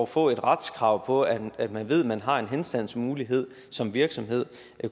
få et retskrav på at at man ved at man har en henstandsmulighed som virksomhed